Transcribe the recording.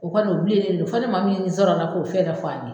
O kɔni o bilen don fo ni maa min nin sɔrɔ la k'o fɛɛrɛ ka fɔ an ye